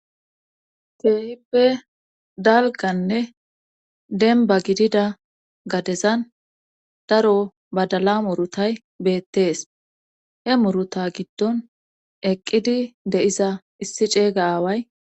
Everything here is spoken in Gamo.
Keehippe dalganne dembba gidida gadezan daro badala murutay beettees he muruta giddon eqqidi deiza issi ceeyga aaway.